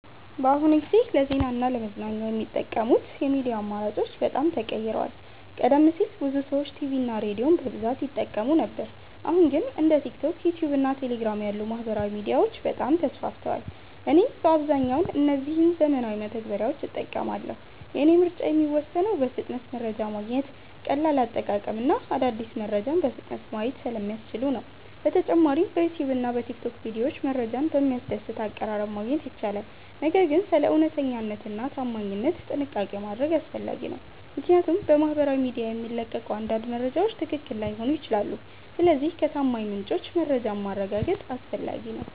በአሁኑ ጊዜ ለዜና እና ለመዝናኛ የሚጠቀሙት የሚዲያ አማራጮች በጣም ተቀይረዋል። ቀደም ሲል ብዙ ሰዎች ቲቪ እና ሬዲዮን በብዛት ይጠቀሙ ነበር አሁን ግን እንደ ቲክቶክ፣ ዩትዩብ እና ቴሌግራም ያሉ ማህበራዊ ሚዲያዎች በጣም ተስፋፍተዋል። እኔም በአብዛኛው እነዚህን ዘመናዊ መተግበሪያዎች እጠቀማለሁ። የእኔ ምርጫ የሚወሰነው በፍጥነት መረጃ ማግኘት፣ ቀላል አጠቃቀም እና አዳዲስ መረጃዎችን በፍጥነት ማየት ስለሚያስችሉ ነው። በተጨማሪም በዩትዩብ እና በቲክቶክ ቪዲዮዎች መረጃን በሚያስደስት አቀራረብ ማግኘት ይቻላል። ነገር ግን ስለ እውነተኛነት እና ታማኝነት ጥንቃቄ ማድረግ አስፈላጊ ነው፣ ምክንያቱም በማህበራዊ ሚዲያ የሚለቀቁ አንዳንድ መረጃዎች ትክክል ላይሆኑ ይችላሉ። ስለዚህ ከታማኝ ምንጮች መረጃን ማረጋገጥ አስፈላጊ ነው።